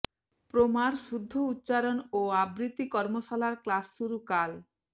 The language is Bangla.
প্রমার শুদ্ধ উচ্চারণ ও আবৃত্তি কর্মশালার ক্লাস শুরু কাল